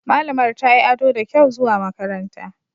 Malamar tayi ado da kyau zuwa makaranta.